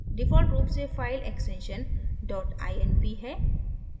default रूप से file extension dot inp है